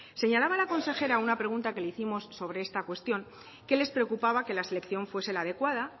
señalaba la consejera a una pregunta que le hicimos sobre esta cuestión que les preocupaba que la selección fuese la adecuada